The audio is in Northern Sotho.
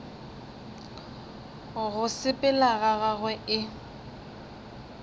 go sepela ga gagwe e